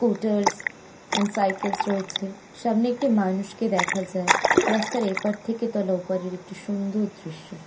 Scooters and cycle রয়েছে। সামনে একটি মানুষকে দেখা যায় রাস্তার এপার থেকে তোলা ওপারের একটি সুন্দর দৃশ্য ।